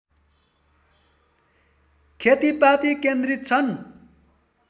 खेतीपाती केन्द्रित छन्